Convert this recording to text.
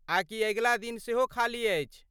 आ कि अगिला दिन सेहो खाली अछि?